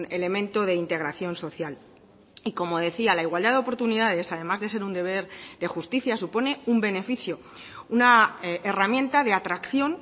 elemento de integración social y como decía la igualdad de oportunidades además de ser un deber de justicia supone un beneficio una herramienta de atracción